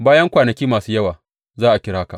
Bayan kwanaki masu yawa za a kira ka.